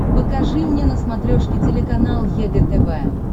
покажи мне на смотрешке телеканал егэ тв